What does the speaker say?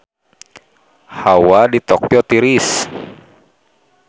Hawa di Tokyo tiris